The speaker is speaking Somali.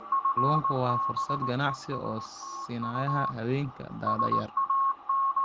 Kalluunku wuxuu fursad ganacsi u siinayaa haweenka da'da yar.